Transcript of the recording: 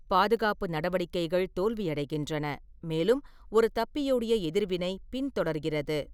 பாதுகாப்பு நடவடிக்கைகள் தோல்வியடைகின்றன, மேலும் ஒரு தப்பியோடிய எதிர்வினை பின்தொடர்கிறது.